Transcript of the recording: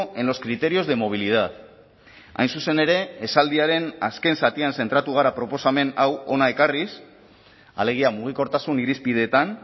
en los criterios de movilidad hain zuzen ere esaldiaren azken zatian zentratu gara proposamen hau hona ekarriz alegia mugikortasun irizpideetan